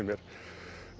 mér